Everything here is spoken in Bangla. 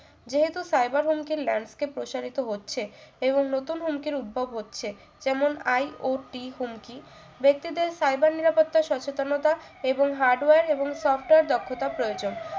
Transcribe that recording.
যেহেতু cyber হুমকি ল্যান্সকে কে প্রসারিত হচ্ছে এবং নতুন হুমকির উদ্ভব হচ্ছে যেমন IOT হুমকি ব্যক্তিদের cyber নিরাপত্তা সচেতনতা এবং hardware এবং software দক্ষতা প্রয়োজন